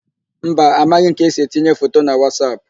Mba, amaghị m ka esi etinye foto na Wasap.